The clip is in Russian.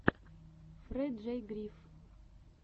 фрэджей гриф